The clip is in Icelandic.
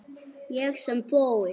Ég sem fór.